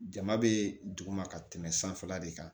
Jama bɛ duguma ka tɛmɛ sanfɛla de kan